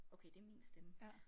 Okay det min stemme